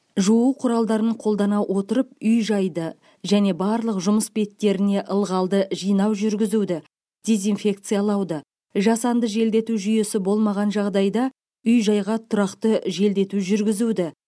жуу құралдарын қолдана отырып үй жайды және барлық жұмыс беттеріне ылғалды жинау жүргізуді дезинфекциялауды жасанды желдету жүйесі болмаған жағдайда үй жайға тұрақты желдету жүргізуді